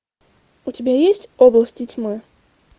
у тебя есть области тьмы